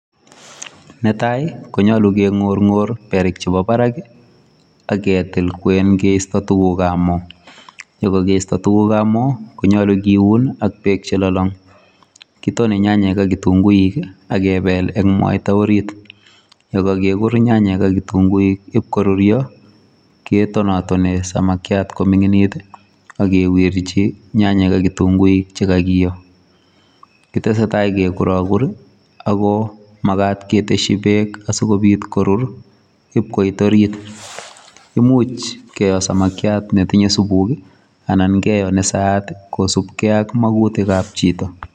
Netai konyulu keng'orng'or berik cgebo barak aketil kwen keisto tugukabmo. Yekakeisto tugukabmo konyolu kiun ak bek chelolong. Kitone nyanyek ak kitunguik akebel eng mwaita orit. Yekakekur nyanyek ak kitunguik ibkorurio ketonatonei samakiat koming'initit akewirji nyanyek ak kitunguik chekakeyo. Kitesetai kekurakur ako makat keteshi bek asikobit korur ibkoit orit. Imuch keyo samakiat netinye subuk anan keyo nesaat kosubkei ak makutik ab chito.